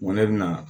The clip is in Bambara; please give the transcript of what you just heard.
Ŋo ne bɛna